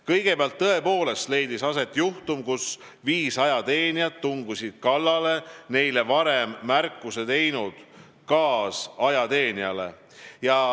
Kõigepealt, tõepoolest leidis aset juhtum, kus viis ajateenijat tungisid kallale neile varem märkuse teinud kaasajateenijale.